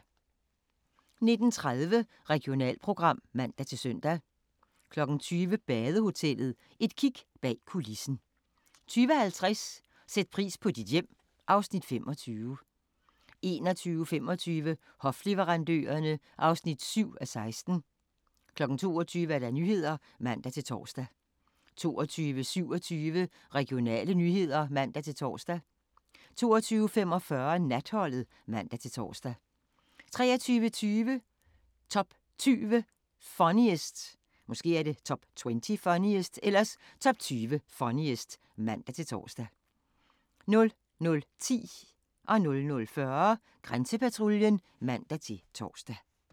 19:30: Regionalprogram (man-søn) 20:00: Badehotellet – et kig bag kulissen 20:50: Sæt pris på dit hjem (Afs. 25) 21:25: Hofleverandørerne (7:16) 22:00: Nyhederne (man-tor) 22:27: Regionale nyheder (man-tor) 22:45: Natholdet (man-tor) 23:20: Top 20 Funniest (man-tor) 00:10: Grænsepatruljen (man-tor) 00:40: Grænsepatruljen (man-tor)